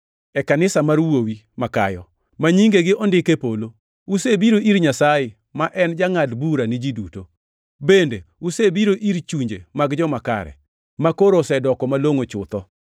e kanisa mar wuowi ma kayo, ma nyingegi ondik e polo. Usebiro ir Nyasaye, ma en jangʼad bura ni ji duto; bende usebiro ir chunje mag joma kare, makoro osedoko malongʼo chutho,